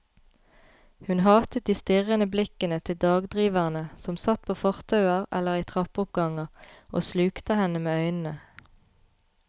Hun hatet de strirrende blikkende til dagdriverne som satt på fortauer eller i trappeoppganger og slukte henne med øynene.